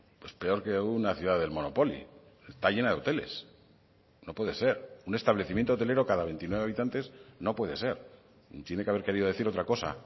pues peor que una ciudad del monopoly está llena de hoteles no puede ser un establecimiento hotelero cada veintinueve habitantes no puede ser tiene que haber querido decir otra cosa